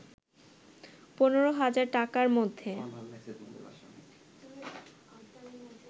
১৫ হাজার টাকার মধ্যে